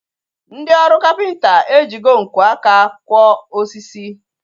Ndị ọrụ kapịnta ejigo nkwo aka kwọ osisi